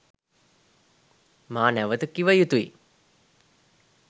මා නැවත කිව යුතුයි.